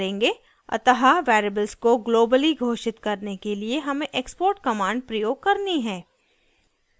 अतः variables को globally घोषित करने के लिए हमें export command प्रयोग करनी है